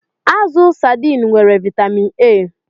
Azụ sadiin nwere vaịtamịn A.